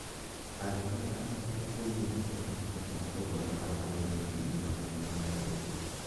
Arũme atatũ kũiya makorobia ma thogora wa dora ngiri magana matatũ.